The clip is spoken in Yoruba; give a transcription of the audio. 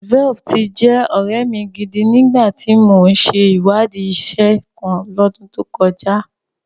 Velp ti jẹ́ ọ̀rẹ́ mi gidi ni ìgbà tí mò ń ṣe ìwádìí iṣẹ́ kan L'ọ́dún tó kọjá